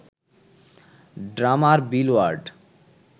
drummer Bill word